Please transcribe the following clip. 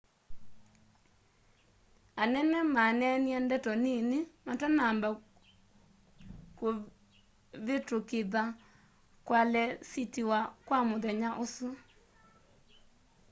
anene maneenie ndeto nini matanamba kĩvĩtũkĩtha kualesitiwa kwa mũthenya ũsu